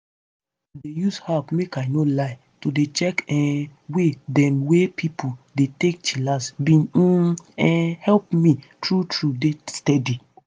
to dey use app make i no lie to dey check um way dem wey pipo dey take chillax bin um um help me true true dey steady.